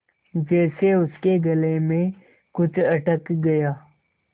जैसे उसके गले में कुछ अटक गया